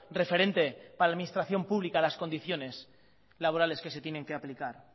referente para la administración pública las condiciones laborales que se tienen que aplicar